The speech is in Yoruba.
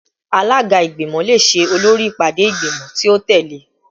Alaga igbimọ le ṣe olori ipade igbimọ ti o tẹle